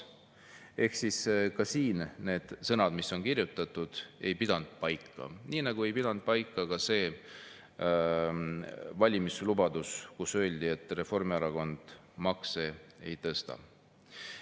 Ehk ka need sõnad, mis on siia kirjutatud, ei pidanud paika, nii nagu ei pidanud paika see valimislubadus, et Reformierakond makse ei tõsta.